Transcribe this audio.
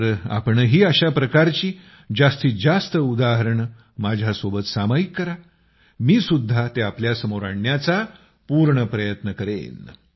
तर आपणही अशा प्रकारची जास्तीत जास्त उदाहरणे माझ्यासोबत सामायिक करा ते सुद्धा आपल्यासमोर आणण्याचा पूर्ण प्रयत्न करेन